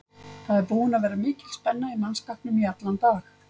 Það er búin að vera mikil spenna í mannskapnum í allan dag.